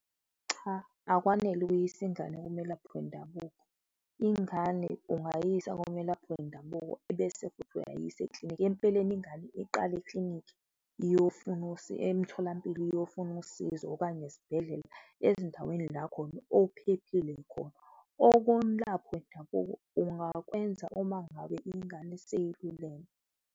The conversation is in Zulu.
Cha, akwanele ukuyisa ingane kumelaphi wendabuko, ingane ungayisa kumelaphi wendabuko ebese futhi uyayisa ekliniki. Empeleni, ingane iqale eklinikhi iyofuna emtholampilo iyofuna usizo okanye esibhedlela, ezindaweni lakhona ophephile khona. Kwendabuko ungakwenza uma ngabe ingane seyiluleme.